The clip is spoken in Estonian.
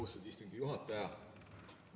Austatud istungi juhataja!